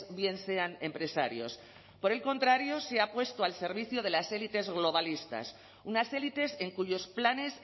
bien sean empresarios por el contrario se ha puesto al servicio de las élites globalistas unas élites en cuyos planes